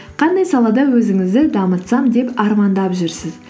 қандай салада өзіңізді дамытсам деп армандап жүрсіз